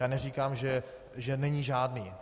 Já neříkám, že není žádný.